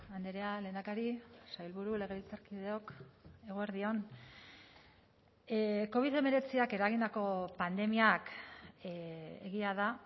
andrea lehendakari sailburu legebiltzarkideok eguerdi on covid hemeretziak eragindako pandemiak egia da